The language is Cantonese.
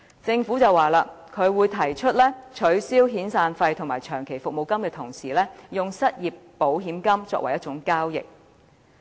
政府表示會在取消遣散費和長期服務金時，用失業保險金作為替代。